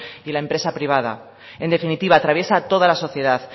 y en la empresa privada en definitiva atraviesa toda la sociedad